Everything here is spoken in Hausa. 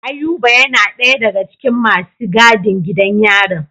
Ayuba yana daya daga cikin masu gadin gidan yarin.